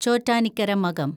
Chottanikkara Makam